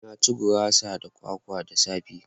Na ci gurasa da kwakwa da safe